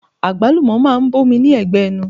Agbalumo máa ń bomi ní ẹgbẹ ẹnu.